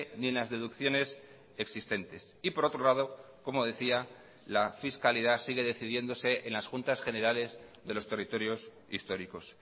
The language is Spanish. ni en las deducciones existentes y por otro lado como decía la fiscalidad sigue decidiéndose en las juntas generales de los territorios históricos